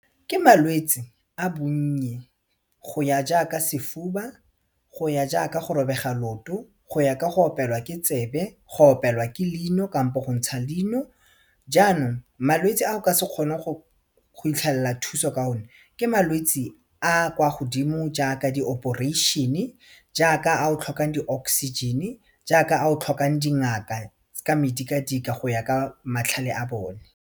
Ke malwetse a bonnye go ya jaaka sefuba, go ya jaaka go robega loto, go ya ka go opelwa ke tsebe, go opelwa ke leino kampo go ntsha leino jaanong malwetse a o ka se kgoneng go fitlhelela thuso ka one ke malwetsi a a kwa godimo jaaka di-operation-e, jaaka a o tlhokang do-oxygen-e jaaka a o tlhokang dingaka ka medikadika go ya ka matlhale a bone.